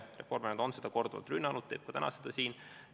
Reformierakond on seda korduvalt rünnanud, ta teeb seda ka täna siin.